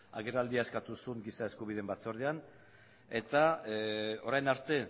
agerraldia eskatu zuen giza eskubideen batzordean eta orain arte